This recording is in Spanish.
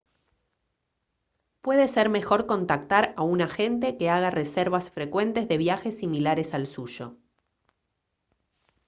puede ser mejor contactar a un agente que haga reservas frecuentes de viajes similares al suyo